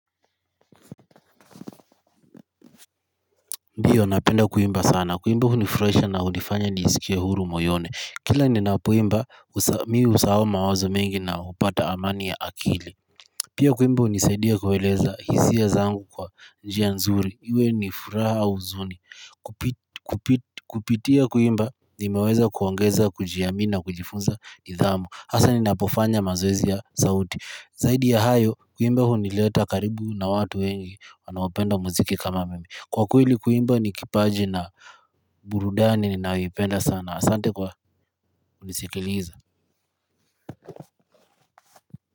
Ndio, napenda kuimba sana. Kuimba hunifurahisha na hunifanya nisikie huru moyoni. Kila ninapoimba, mi husahau mawazo mengi na hupata amani ya akili. Pia kuimba hunisaidia kueleza hisia zangu kwa njia nzuri. Iwe ni furaha au huzuni. Kupitia kuimba, nimeweza kuongeza, kujiamini na kujifunza nidhamu. Hasa ninapofanya mazoezi ya sauti. Zaidi ya hayo, kuimba hunileta karibu na watu wengi wanaopenda muziki kama mimi. Kwa kweli kuimba ni kipaji na burudani ninayoipenda sana. Asante kwa kunisikiliza.